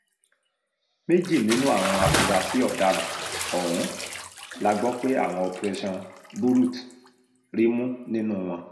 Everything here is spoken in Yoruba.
méjì nínú àwọn afurasí ọ̀daràn ọ̀hún la gbọ́ pé àwọn operation burut rí mú nínú wọn